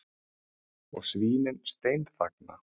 Og svínin steinþagna.